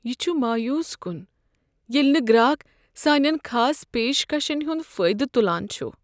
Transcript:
یِہ چُھ مایوس کن ییلِہ نہٕ گراکھ سانین خاص پیشکشن ہنٛد فٲیدٕ تلان چھ ۔